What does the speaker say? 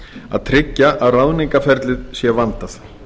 að tryggja að ráðningarferlið sé vandað